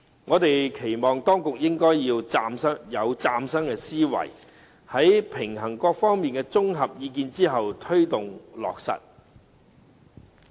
我們期望當局應以嶄新思維，在平衡各方利益和綜合意見後，推動落實。